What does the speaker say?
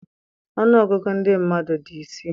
Ọnụ ọgụgụ ndị mmadụ dị isii